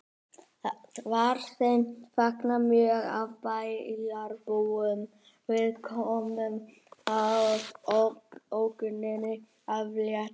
Var þeim fagnað mjög af bæjarbúum við komuna og ógninni aflétt